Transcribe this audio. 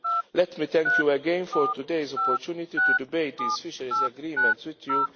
Let me thank you again for today's opportunity to debate these fisheries agreements with